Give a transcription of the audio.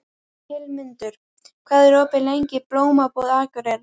Hildimundur, hvað er opið lengi í Blómabúð Akureyrar?